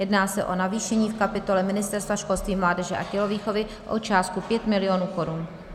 Jedná se o navýšení v kapitole Ministerstva školství, mládeže a tělovýchovy o částku 5 mil. korun.